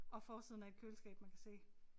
Og forsiden af et køleskab man kan se